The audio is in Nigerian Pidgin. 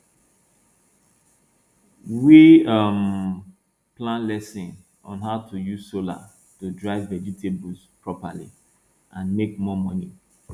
we um plan lesson on how to use solar to dry vegetables properly and make more money